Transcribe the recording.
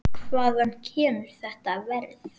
Hvaðan kemur þetta verð?